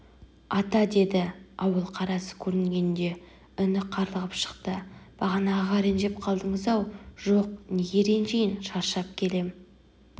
ата деді ауыл қарасы көрінгенде үні қарлығып шықты бағанағыға ренжіп қалдыңыз-ау жоқ неге ренжиін шаршап келем